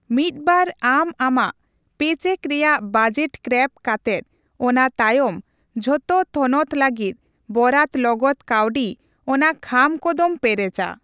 ᱢᱤᱫᱵᱟᱨ ᱟᱢ ᱟᱢᱟᱜ ᱯᱮᱼᱪᱮᱠ ᱨᱮᱭᱟᱜ ᱵᱟᱡᱮᱴ ᱠᱨᱟᱣ ᱠᱟᱛᱮᱜ ᱚᱱᱟ ᱛᱟᱭᱚᱢ ᱡᱚᱛᱚ ᱛᱷᱚᱱᱚᱛ ᱞᱟᱹᱜᱤᱫ ᱵᱚᱨᱟᱛ ᱞᱚᱜᱚᱫ ᱠᱟᱹᱣᱰᱤ ᱚᱱᱟ ᱠᱷᱟᱢ ᱠᱚ ᱫᱚᱢ ᱯᱮᱨᱮᱪᱟ ᱾